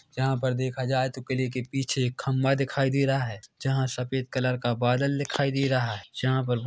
जहाँ पर देखा जाए तो किले के पिछे एक खम्बा दिखाई दे रहा है जहाँ सफेद कलर का बादल दिखाई दे रहा है जहाँ पर--